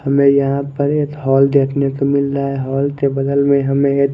हमे यहा पर एक होल देखने को मिल रहा है होल के बगल में हमे एक--